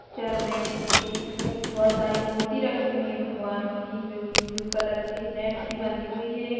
Picture में एक बहुत सारी मूर्ति रखी हुई है भगवानों की जो की ब्लू कलर की नेट से बंधी हुई है एक।